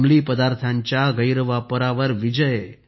अंमली पदार्थांच्या गैरवापरावर विजय